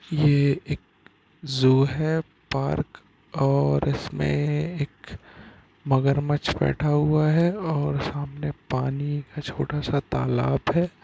ये एक जू है पार्क ओर इसमे एक मगरमछ बैठा हुआ है ओर सामने पानी का छोटा सा तालाब है।